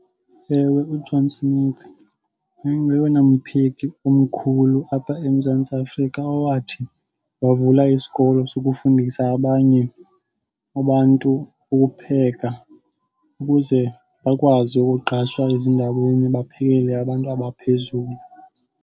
Ewe, uJohn Smith wayengoyena mpheki omkhulu apha eMzantsi Afrika owathi wavula isikolo sokufundisa abanye abantu ukupheka ukuze bakwazi ukuqashwa ezindaweni, baphekele abantu abaphezulu.